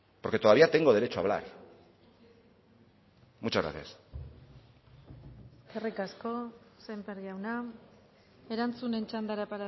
porque todavía tengo derecho a hablar muchas gracias eskerrik asko sémper jauna erantzunen txandara